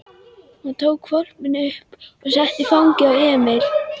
Hún tók hvolpinn upp og setti í fangið á Emil.